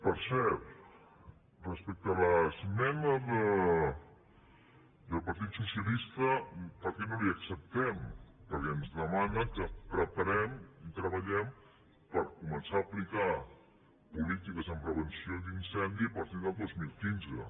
per cert respecte a l’esmena del partit socialista per què no la hi acceptem perquè ens demana que preparem i treballem per començar a aplicar polítiques de prevenció d’incendis a partir del dos mil quinze